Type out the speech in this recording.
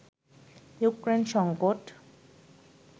Ukraine সংকট